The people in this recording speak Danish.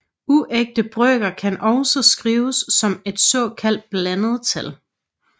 Uægte brøker kan også skrives som et såkaldt blandet tal